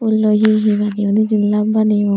he loi he he baneyun hijeni love baneyun.